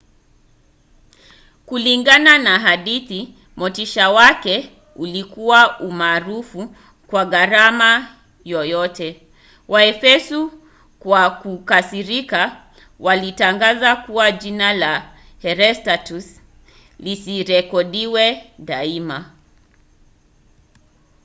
kulingana na hadithi motisha wake ulikuwa umaarufu kwa gharama yoyote. waefeso kwa kukasirika walitangaza kuwa jina la herostratus lisirekodiwe daima